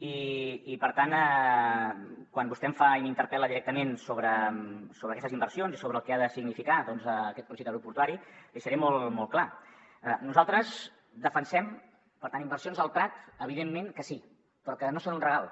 i per tant quan vostè m’interpel·la directament sobre aquestes inver·sions i sobre el que ha de significar aquest projecte aeroportuari li seré molt clar nosaltres defensem les inversions al prat evidentment que sí però no són un regal